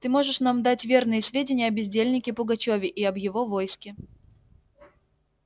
ты можешь нам дать верные сведения о бездельнике пугачёве и об его войске